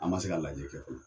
An ma se k'a lajɛ kɛ fɔlɔ.